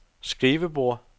skrivebord